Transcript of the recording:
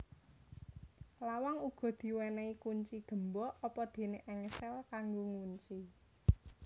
Lawang uga diwenei kunci gembok apadene engsel kanggo ngunci